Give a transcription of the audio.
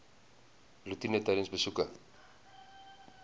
roetine tydens besoeke